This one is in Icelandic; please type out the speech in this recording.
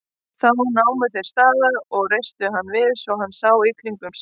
Þá námu þeir staðar og reistu hann við svo hann sá í kringum sig.